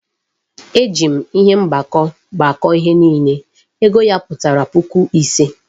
E ji m ihe mgbakọ gbakọọ ihe niile, ego ya pụtara puku ise